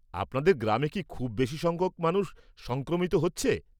আপনাদের গ্রামে কি খুব বেশি সংখ্যক মানুষ সংক্রমিত হচ্ছে?